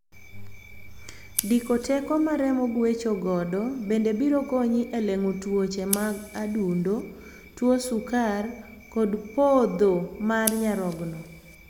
Diko teko ma remo gwecho godo bende biro konyi e leng'o tuoche mag adundo, tuo sukar, kod podho mar nyarogno.